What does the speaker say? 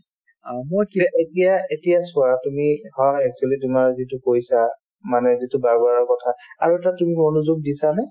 অ, মই এতিয়া এতিয়া চোৱা তুমি হয় actually তোমাৰ যিটো কৈছা মানে যিটো barber ৰৰ কথা আৰু এটা তুমি মনযোগ দিছা নে